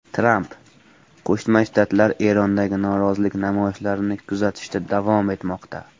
Tramp: Qo‘shma Shtatlar Erondagi norozilik namoyishlarini kuzatishda davom etmoqda.